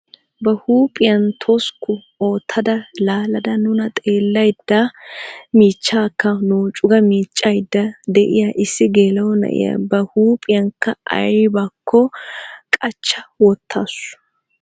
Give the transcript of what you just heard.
Ba huuphphiyaa toskku oottada laalada nuna xeellayda michchaakka nooccu ga miiccayda de'iyaa issi geela'o na'iyaa ba huuphphiyaaka aybinikko qachcha wottaasu.